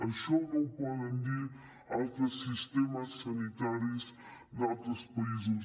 això no ho poden dir altres sistemes sanitaris d’altres països